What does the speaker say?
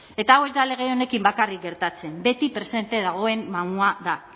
eta hau ez da lege honekin bakarrik gertatzen beti presente dagoen mamua da